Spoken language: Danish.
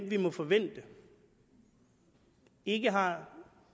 vi må forvente ikke har